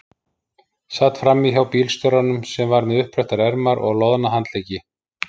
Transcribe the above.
Sat frammí hjá bílstjóranum sem var með uppbrettar ermar og loðna handleggi.